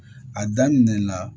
A daminɛ la